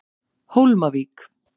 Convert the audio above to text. Hólmavík